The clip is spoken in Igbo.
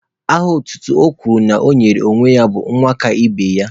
Aha otutu o kwuru na ọ nyere onwe ya bụ 'nwakaibeya'